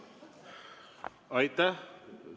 Aitäh!